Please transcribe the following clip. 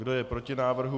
Kdo je proti návrhu?